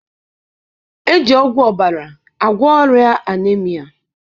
Eji ọgwụ ọbara agwọ ọrịa anaemia